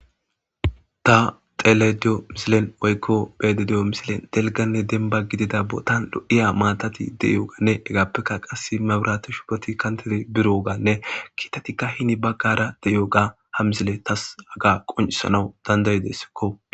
Ta xele diyo misilen woykko bede deyo misilen delganne denba gidida bootan lo7iya maatati de7ioganne hegappekka qas mabirati shupoti kantede biro ogaanne kiitatikka hini baggara deyoga ha misile tas aga qoncisanawu dandayidessikko